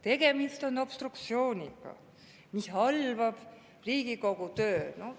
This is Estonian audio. Tegemist on obstruktsiooniga, mis halvab Riigikogu töö.